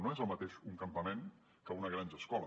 no és el mateix un campament que una granja escola